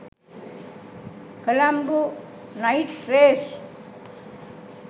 colombo night race